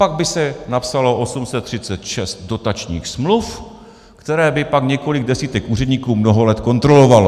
Pak by se napsalo 836 dotačních smluv, které by pak několik desítek úředníků mnoho let kontrolovalo.